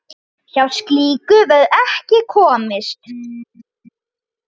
Hjá slíku verður ekki komist.